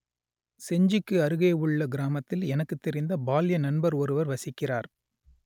செஞ்சிக்கு அருகே உள்ள கிராமத்தில் எனக்குத் தெரிந்த பால்ய நண்பர் ஒருவர் வசிக்கிறார்